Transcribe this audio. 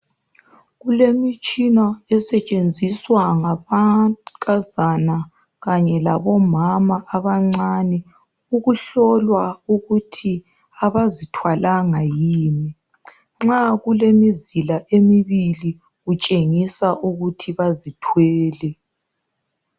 Kulemitshina esetshenziswa ngamankazana kanye labomama abancane ukuhlola ukuthi abazithwalanga yini. Nxa kulemizila emibili kutshengisa ukuthi bazithwele